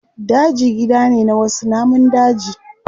Daji gida ne na wasu namun daji.